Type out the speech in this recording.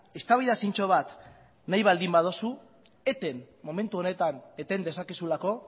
eztabaida zintzo bat nahi baldin baduzu eten momentu honetan eten dezakezulako